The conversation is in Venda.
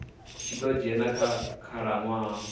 tshi ḓo dzhena kha khalaṅwaha